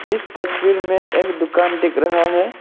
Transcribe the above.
इस तस्वीर में एक दुकान दिख रहा है।